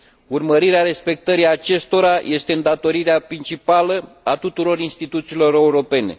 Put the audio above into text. Urmărirea respectării acestora este îndatorirea principală a tuturor instituțiilor europene.